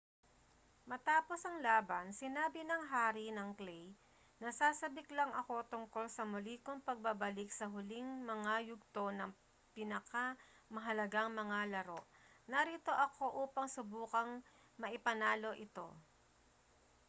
matapos ang laban sinabi ng hari ng clay nasasabik lang ako tungkol sa muli kong pagbabalik sa huling mga yugto ng pinakamahalagang mga laro narito ako upang subukang maipanalo ito